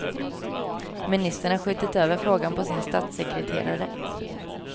Ministern har skjutit över frågan på sin statssekreterare.